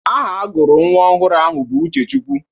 Aha agụrụ nwa ọhụrụ ahụ bụ Uchechukwu.